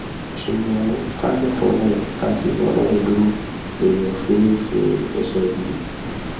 ṣùgbọn ká gbà fọlọrun ká sì bọlọrun dúró léèyàn ò fi ní í sí ẹsẹ gbé